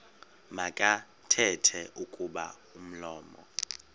makathethe kuba umlomo